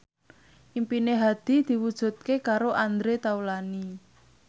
impine Hadi diwujudke karo Andre Taulany